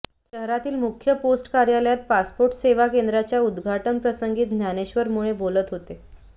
शहरातील मुख्य पोस्ट कार्यालयात पासपोर्ट सेवा केंद्राच्या उद्घाटनप्रसंगी ज्ञानेश्वर मुळे बोलत होते